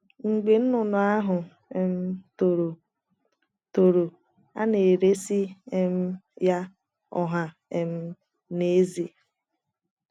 Mgbe nnụnụ ahụ um toro, toro, a na - eresị um ya ọha um na eze.